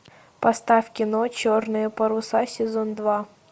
поставь кино черные паруса сезон два